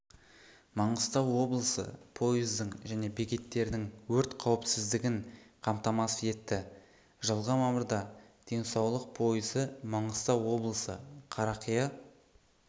маңғыстау облысы пойыздың және бекеттердің өрт қауіпсіздігін қамтамасыз етті жылғы мамырда денсаулық пойызы маңғыстау облысы қарақия